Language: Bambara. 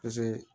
Paseke